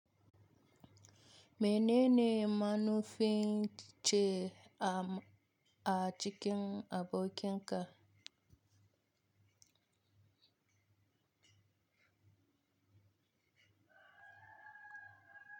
Menene manufin ce a cikin abokin ka?